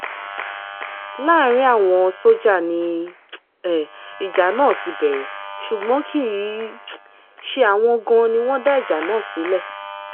láàrín àwọn sójà ni um ìjà náà ti bẹ̀rẹ̀ ṣùgbọ́n kì í um ṣe àwọn gan-an ni wọ́n dá ìjà náà sílẹ̀